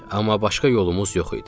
Amma başqa yolumuz yox idi.